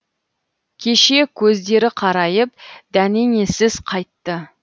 кеше көздері қарайып дәнеңесіз қайтты